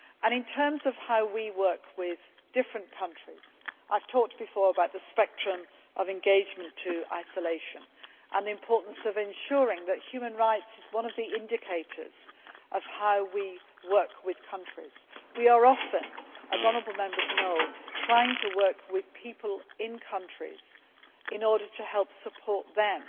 In terms of how we work with different countries, I have talked before about the spectrum of engagement to isolation and the importance of ensuring that human rights is one of the indicators of how we work with countries. We are often, as the honourable Members know, trying to work with people in countries in order to support